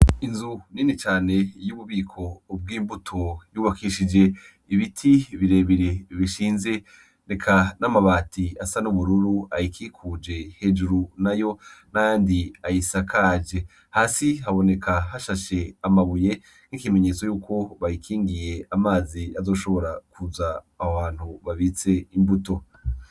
Inzu nini cane y'ububiko ubwo imbuto yubakishije ibiti birebire bishinze neka n'amabati asa n'umururu ayikikuje hejuru na yo nandi ayisakaje hasi haboneka hashashe amabuye nk'ikimenyetso yuko bayikingiye amazi azoshobora kuza abantu babitse imbuto.